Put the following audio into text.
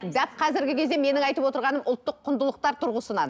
дәп қазіргі кезде менің айтып отырғаным ұлттық құндылықтар тұрғысынан